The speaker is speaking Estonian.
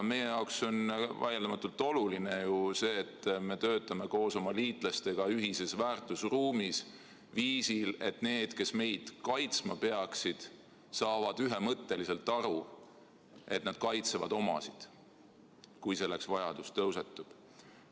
Meie jaoks on ju vaieldamatult oluline see, et me töötame koos oma liitlastega ühises väärtusruumis, viisil, et need, kes meid kaitsma peaksid, saavad ühemõtteliselt aru, et nad kaitsevad omasid, kui selleks vajadus tekib.